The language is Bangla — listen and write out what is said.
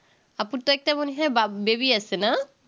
আপুর তো একটা মনে হয় বা baby আছে না